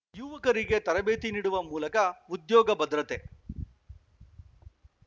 ಯುವಕರಿಗೆ ತರಬೇತಿ ನೀಡುವ ಮೂಲಕ ಉದ್ಯೋಗ ಭದ್ರತೆ